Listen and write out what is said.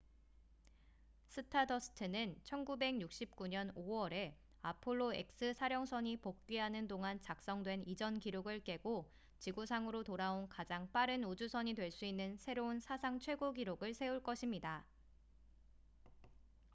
stardust는 1969년 5월에 apollo x 사령선이 복귀하는 동안 작성된 이전 기록을 깨고 지구상으로 돌아온 가장 빠른 우주선이 될 수 있는 새로운 사상 최고 기록을 세울 것입니다